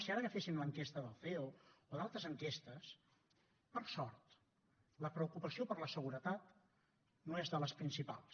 si ara agaféssim l’enquesta del ceo o d’altres enquestes per sort la preocupació per la seguretat no és de les principals